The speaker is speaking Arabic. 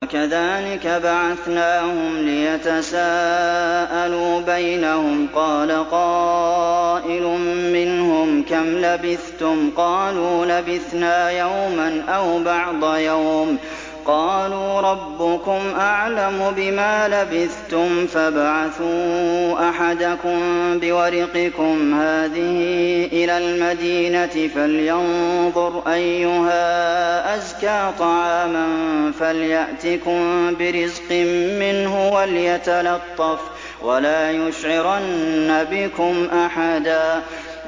وَكَذَٰلِكَ بَعَثْنَاهُمْ لِيَتَسَاءَلُوا بَيْنَهُمْ ۚ قَالَ قَائِلٌ مِّنْهُمْ كَمْ لَبِثْتُمْ ۖ قَالُوا لَبِثْنَا يَوْمًا أَوْ بَعْضَ يَوْمٍ ۚ قَالُوا رَبُّكُمْ أَعْلَمُ بِمَا لَبِثْتُمْ فَابْعَثُوا أَحَدَكُم بِوَرِقِكُمْ هَٰذِهِ إِلَى الْمَدِينَةِ فَلْيَنظُرْ أَيُّهَا أَزْكَىٰ طَعَامًا فَلْيَأْتِكُم بِرِزْقٍ مِّنْهُ وَلْيَتَلَطَّفْ وَلَا يُشْعِرَنَّ بِكُمْ أَحَدًا